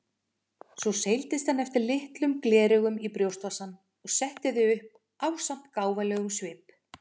Svo seildist hann eftir litlum gleraugum í brjóstvasann og setti þau upp ásamt gáfulegum svip.